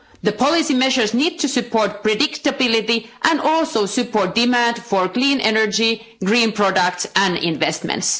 The policy measures need to support predictability and also support demand for clean energy, green products and investments.